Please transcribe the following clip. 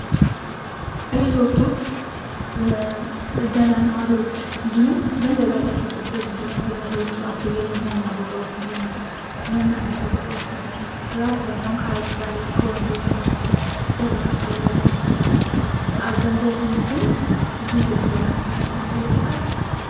ሪዞርቶች በደህና ነዋሪዎች እንድሁም ገንዘብ ያላቸው ሰዎች ብዙውን ጊዜ የሚያዘዎትሯቸው የመዝናኛ ቦታዎች እንድሁም የመናፈሻ ቦታዎች ናቸው። በአብዛኛው ከሀይቅ ዳር ከወንዝ ዳር ሲሰሩ እናስተውላለን። ገንዘቡን ግን አስተውለንው አናውቅም አስተውለውት ያውቃሉ?